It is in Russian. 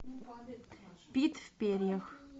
пит в перьях